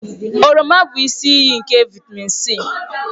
Oroma bụ isi iyi nke vịtamịn C.